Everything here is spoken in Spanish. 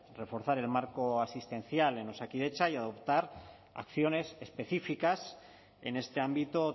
reforzar el marco asistencial en osakidetza y adoptar acciones específicas en este ámbito